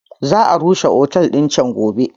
Za a rusa otel din can gobe.